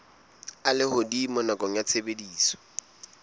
a lehodimo nakong ya tshebediso